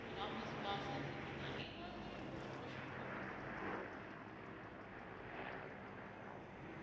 মানে office bus আসে কিনা এই ধরনের প্রশ্নগুলো করতে পারো